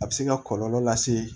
A bɛ se ka kɔlɔlɔ lase